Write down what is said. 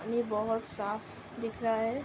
ये बहुत साफ दिख रहा है।